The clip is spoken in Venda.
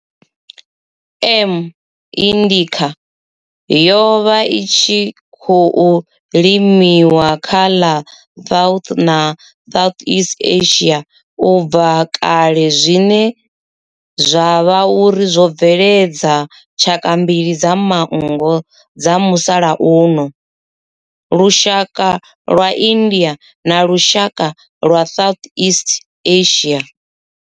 M. indica yo vha i tshi khou limiwa kha ḽa South na Southeast Asia ubva kale zwine zwa vha uri zwo bveledza tshaka mbili dza manngo dza musalauno, lushaka lwa India na lushaka lwa Southeast Asia.